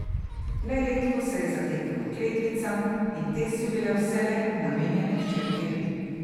Le redko se je zatekel h kletvicam, in te so bile vselej namenjene hčerki.